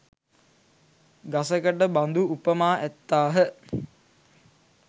ගසකට බඳු උපමා ඇත්තාහ.